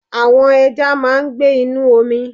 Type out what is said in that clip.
Àwon ẹja máa n gbé Inú omi